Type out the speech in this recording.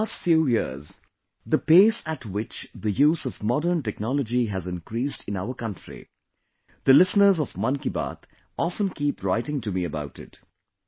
in the last few years, the pace at which the use of modern technology has increased in our country, the listeners of 'Mann Ki Baat' often keep writing to me about it